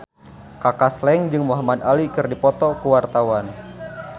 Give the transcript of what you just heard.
Kaka Slank jeung Muhamad Ali keur dipoto ku wartawan